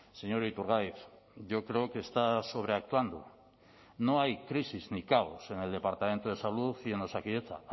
señor iturgaiz yo creo que está sobreactuando no hay crisis ni caos en el departamento de salud y en osakidetza